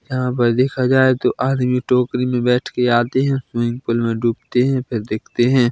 यहाँ पर देखा जाये तो आदमी टोकरी मे बैठके आते है स्विमिंग पूल में डूबते है फिर देखते हैं।